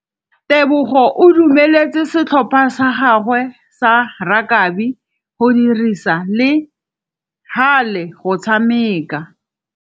Tebogô o dumeletse setlhopha sa gagwe sa rakabi go dirisa le galê go tshameka.